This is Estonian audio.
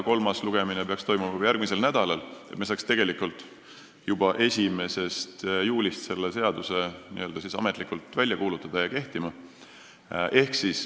Kolmas lugemine peaks toimuma juba järgmisel nädalal, et me saaks selle seaduse juba 1. juulist ametlikult välja kuulutada ja kehtima panna.